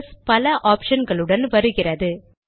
PS பல option களுடன் வருகிறது